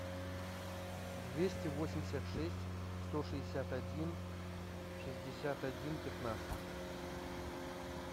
двести восемьдесят шесть сто шестьдесят один шестьдесят один пятнадцать